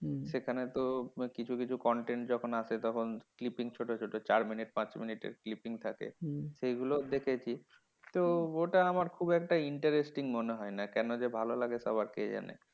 সেখানে তো কিছু কিছু content যখন আসে তখন clipping ছোট ছোট চার মিনিট পাঁচ মিনিটের clipping থাকে, সেগুলো দেখেছি। তো ওটা আমার খুব একটা interesting মনে হয় না। কেন যে ভালো লাগে সবার কে জানে?